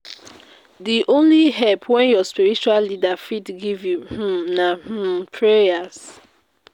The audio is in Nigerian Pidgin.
Di only help wey your spiritual leader fit give you um na um prayers.